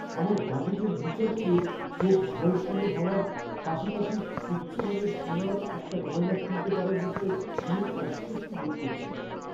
আমার বাজেটের বিচার করে, চোখ ঝলসানো হওয়ার পাশাপাশি উচ্চমানের সোনার একটা গয়না কিনতে পারার বিষয়ে আমি একটু অস্বস্তি বোধ করছি।